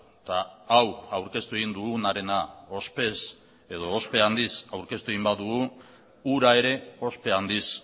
eta hau aurkeztu egin dugunarena ospe handiz aurkeztu egin badugu hura ere ospe handiz